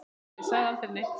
Pabbi sagði aldrei neitt.